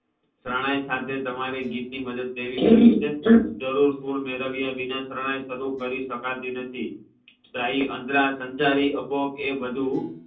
શરણાઈ સાથે તમારે ગીત ની મદદ લેવી છે જરૂર સુર મેળવ્યા સિવાય શરણાઈ શરુ કરી શકાતી નથી શાહી અંતરસ સંસારી અબોગ એ બધુ